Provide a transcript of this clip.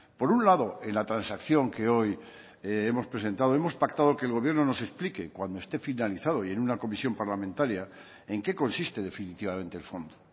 por un lado en la transacción que hoy hemos presentado hemos pactado que el gobierno nos explique cuando esté finalizado y en una comisión parlamentaria en qué consiste definitivamente el fondo